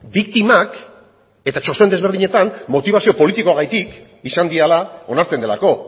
biktimak eta txosten desberdinetan motibazio politikoagatik izan direla onartzen delako